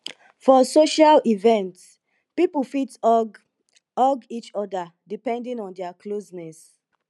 for social events pipo fit hug hug each other depending on their closeness